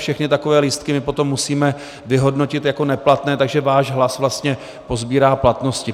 Všechny takové lístky my potom musíme vyhodnotit jako neplatné, takže váš hlas vlastně pozbývá platnosti.